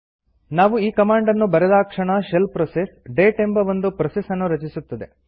ನಾವು ಈ ಕಮಾಂಡ್ ನ್ನು ಬರೆದಾಕ್ಷಣ ಶೆಲ್ ಪ್ರೋಸೆಸ್ ಡೇಟ್ ಎಂಬ ಒಂದು ಪ್ರೋಸೆಸ್ ನ್ನು ರಚಿಸುತ್ತದೆ